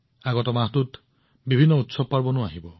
অহা মাহত বহুতো উৎসৱ অনুষ্ঠিত হব